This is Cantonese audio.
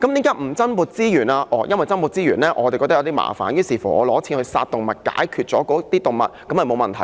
因為當局覺得增撥資源麻煩，拿錢去殺動物，解決那些動物便沒有問題。